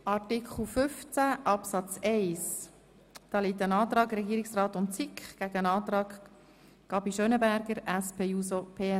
Zu Artikel 15 Absatz 1 steht der Antrag SiK und Regierungsrat dem Antrag Gabi Schönenberger gegenüber.